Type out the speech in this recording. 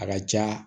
A ka ca